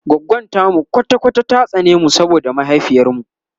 goggon tamu kwata kwata ta tsane mu saboda mahaifiyar mu